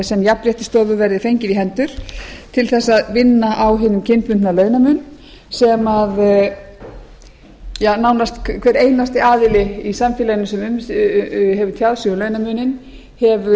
sem jafnréttisstofu verði fengið í hendur til þess að vinna á hinum kynbundna launamun sem nánast hver einasti aðili í samfélaginu sem hefur tjáð sig um launamuninn hefur